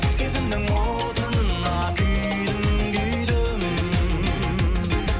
сезімнің отына күйдім күйдім